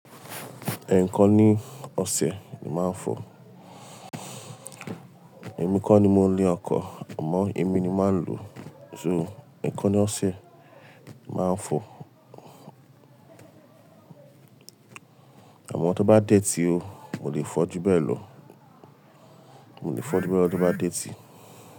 Ẹ̀ẹ̀kan ni ọ̀sẹ̀ ni màá fọ̀. Ẹ̀mí kọ́ ni mo ní ọkọ̀ àmọ́ èmi ni màá lò ó. So ẹẹ̀kan ni ọ̀sẹ̀ ni màá fọ̀. Àmọ́ tó bá dé tí o, mo lè fọ júbẹ̀ lọ. Mo lè fọ júbẹ̀ lọ tó bá dé tí.